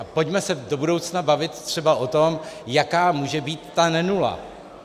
A pojďme se do budoucna bavit třeba o tom, jaká může být ta nenula.